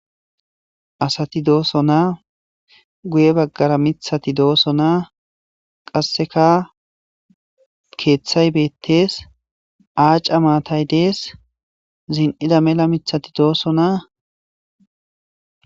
Asat dosona, guye bagara mithat dosona,qaseka kethay betes ,aca matay Des, zin'ida mela mithat dosona .